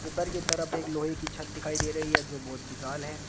ऊपर की तरफ एक लोहे की छत दिखाई दे रही है जो बहुत विशाल है।